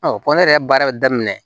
ne yɛrɛ ye baara daminɛ